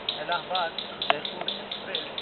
ᱮᱞᱟᱦᱟᱵᱟᱫ–ᱡᱚᱭᱯᱩᱨ express